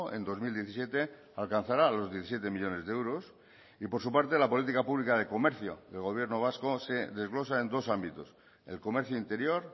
en dos mil diecisiete alcanzará los diecisiete millónes de euros y por su parte la política pública de comercio del gobierno vasco se desglosa en dos ámbitos el comercio interior